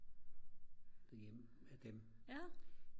derhjemme af dem